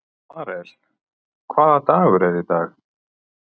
Marel, hvaða dagur er í dag?